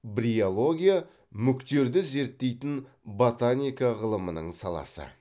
бриология мүктерді зерттейтін ботаника ғылымының саласы